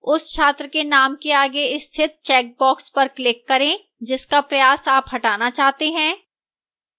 उस छात्र के name के आगे स्थित checkbox पर click करें जिसका प्रयास आप हटाना चाहते हैं